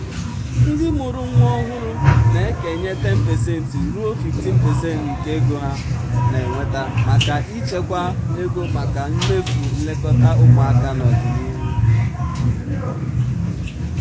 ndị mụrụ nwa ọhụrụ na-ekenye 10% ruo 15% nke ego ha na-enweta maka ịchekwa ego maka mmefu nlekọta ụmụaka n'ọdịnihu.